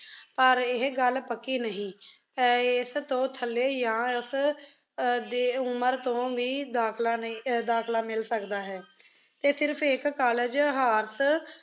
ਪਰ ਇਹ ਗੱਲ ਪੱਕੀ ਨਹੀਂ ਹੈ ਇਸ ਤੋਂ ਥੱਲੇ ਜਾਂ ਇਸਦੀ ਉਮਰ ਤੋਂ ਵੀ ਦਾਖ਼ਲਾ ਨਹੀਂ, ਅਹ ਦਾਖਲਾ ਮਿਲ ਸਕਦਾ ਹੈ ਅਤੇ ਸਿਰਫ਼ ਇੱਕ ਕਾਲਜ horse